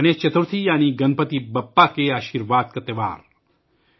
گنیش چترتھی، یعنی گنپتی بپا کے آشیرواد کا تہوار